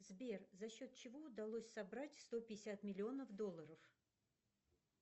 сбер за счет чего удалось собрать сто пятьдесят миллионов долларов